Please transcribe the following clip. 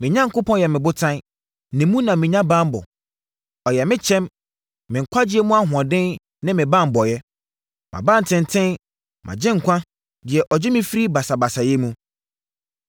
me Onyankopɔn yɛ me botan; ne mu na menya banbɔ. Ɔyɛ me kyɛm, me nkwagyeɛ mu ahoɔden ne me banbɔeɛ, mʼabantenten, mʼagyenkwa, deɛ ɔgye me firi basabasayɛ mu.